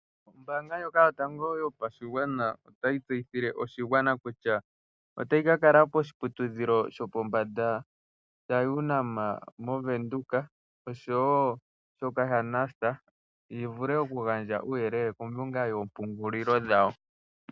Ombaanga ndjoka yotango yopashigwana otayi tseyithile oshigwana kutya otayi ka kala poshiputudhilo shopombanda shaUNAM movenduka oshowo shoka shaNUST yi vule oku gandja uuyelele kombinga yoopungulilo dhawo.